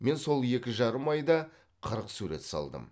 мен сол екі жарым айда қырық сурет салдым